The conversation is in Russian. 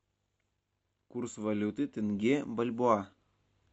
курс валюты тенге бальбоа